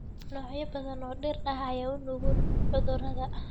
Noocyo badan oo dhir ah ayaa u nugul cudurrada.